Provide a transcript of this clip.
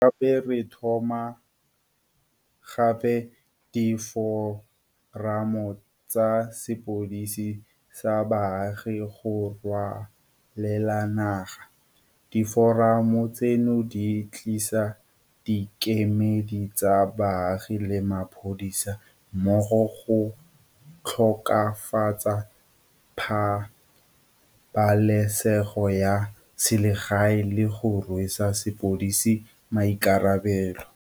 Gape re tlhoma gape diforamo tsa sepodisi sa baagi go ralala naga. Diforamo tseno di tlisa dikemedi tsa baagi le mapodisi mmogo go tokafatsa pabalesego ya selegae le go rwesa sepodisi maikarabelo.